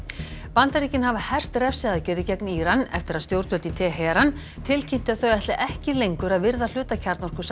Bandaríkin hafa hert refsiaðgerðir gegn Íran eftir að stjórnvöld í Teheran tilkynntu að þau ætli ekki lengur að virða hluta